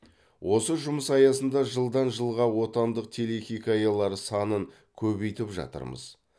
осы жұмыс аясында жылдан жылға отандық телехикаялар санын көбейтіп жатырмыз